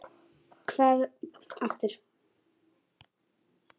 Hverfur mér allt.